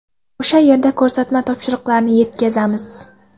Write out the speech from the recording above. O‘sha yerda ko‘rsatma va topshiriqlarni yetkazamiz.